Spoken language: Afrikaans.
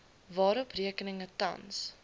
waarop rekeninge tans